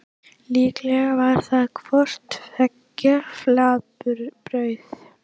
Líklega var það hvort tveggja flatbrauð.